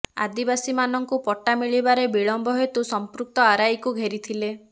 ଆଦିବାସୀମାନଙ୍କୁ ପଟ୍ଟା ମିଳିବାରେ ବିଳମ୍ବ ହେତୁ ସମ୍ପୃକ୍ତ ଆର୍ଆଇକୁ ଘେରିଥିଲେ